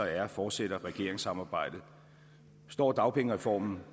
r fortsætter regeringssamarbejdet består dagpengereformen